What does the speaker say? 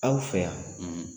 Aw fɛ yan, .